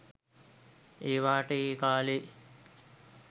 ඒවාට ඒ කාලෙ